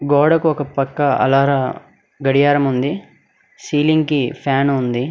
గోడకు ఒక పక్క అలార గడియారం ఉంది సీలింగ్ కి ఫ్యాన్ ఉంది.